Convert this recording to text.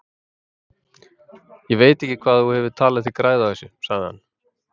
Ég veit ekki hvað þú hefur talið þig græða á þessu, sagði hann.